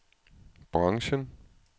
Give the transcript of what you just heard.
branchen